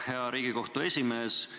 Hea Riigikohtu esimees!